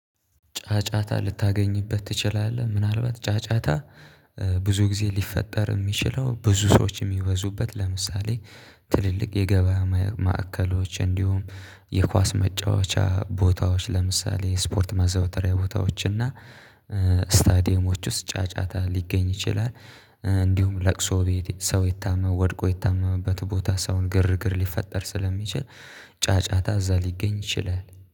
ጫጫታ ልታገኝበት ትችላለህ? ምናልባት ጫጫታ ብዙ ጊዜ ሊፈጠር የሚችለው ብዙ ሰዎች የሚወዙበት ለምሳሌ ትልልቅ የገበያ ማዕከሎች እንዲሁም የኳስ መጫወቻ ቦታዎች ለምሳሌ ስፖርት ማዘውተሪያ ቦታዎች እና ስታዲየሞች ውስጥ ጫጫታ ሊገኝ ይችላል። እንዲሁም ለቅሶ ቤት ሰው ይታመም ወድቆ ይታመምበት ቦታ ሰውን ግርግር ሊፈጠር ስለሚችል ጫጫታ እዛ ሊገኝ ይችላል